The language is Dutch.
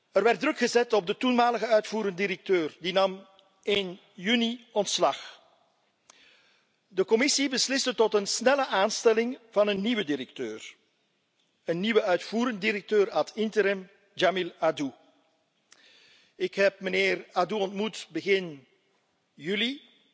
Er werd druk gezet op de toenmalige uitvoerend directeur die nam in juni ontslag. De Commissie besliste tot een snelle aanstelling van een nieuwe directeur, een nieuwe uitvoerend directeur ad interim, Jamil Addou. Ik heb mijnheer Addou ontmoet begin juli.